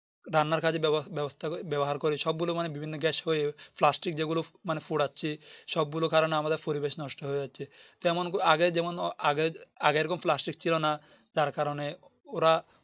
রান্নার কাজে ব্যবস্থা বাবহার করি সব গুলো মানে বিভিন্ন Gas হয়ে Plastic যেগুলো মানে পুড়াচ্ছি সব গুলোর কারণে আমাদের পরিবেশ নষ্ট হয়ে যাচ্ছে তো এমন আগে যেমন আগে এরকম Plastic ছিল না যার কারণে ওরা